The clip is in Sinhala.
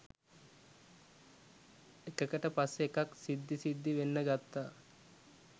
එකකට පස්සෙ එකක් සිද්දි සිද්දි වෙන්න ගත්තා